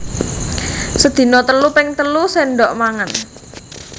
Sedina telu ping telu séndhok mangan